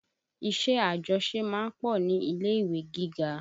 Iṣẹ́ àjọṣe ma ń pọ̀ ní ilé-ìwé gíga